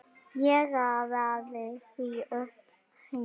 Ég raðaði því upp heima.